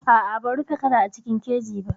A'a ban rufe kada a cikin keji ba.